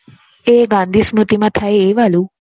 એ વાદીસમતિ માં થાય એ વાળું